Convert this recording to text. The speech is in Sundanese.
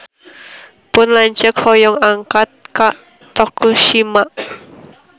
Pun lanceuk hoyong angkat ka Tokushima